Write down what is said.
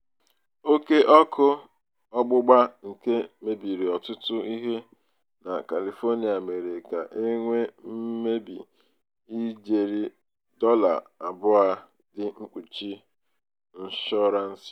oke ọkụ ọgbụgba nke mebiri ọtụtụ ihe na kalifonịa mere ka e nwee mmebi ijeri dọla abụọ dị mkpuchi nshọransị.